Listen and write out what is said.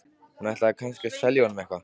Hún ætlaði kannski að selja honum eitthvað.